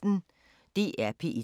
DR P1